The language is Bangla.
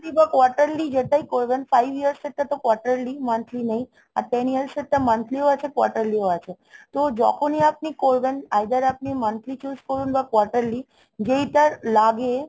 Monthly বা quarterly যেটাই করবেন, five years এর টা তো quarterly, monthly নেই। আর ten years এরটা monthly ও আছে quarterly ও আছে। তো যখনই আপনি করবেন either আপনি monthly choose করুন বা quarterly . যেইটার লাগে